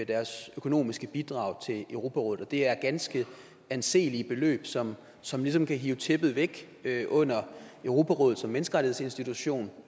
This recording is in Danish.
deres økonomiske bidrag til europarådet og det er ganske anselige beløb som som ligesom kan hive tæppet væk under europarådet som menneskerettighedsinstitution